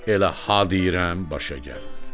Elə ha deyirəm, başa gəlmir.